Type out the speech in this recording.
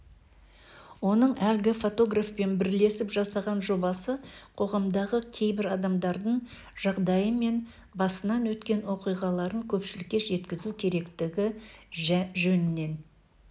оның әлгі фотографпен бірлесіп жасаған жобасы қоғамдағы кейбір адамдардың жағдайы мен басынан өткен оқиғаларын көпшілікке жеткізу керектігі жөнінен